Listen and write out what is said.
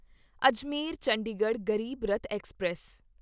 Ajmer Chandigarh Garib Rath express